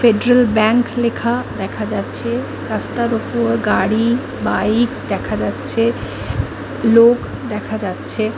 Federal bank লেখা দেখা যাচ্ছে রাস্তার ওপর গাড়ি বাইক দেখা যাচ্ছে রাস্তার ওপর লোক দেখা যাচ্ছে ।